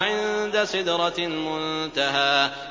عِندَ سِدْرَةِ الْمُنتَهَىٰ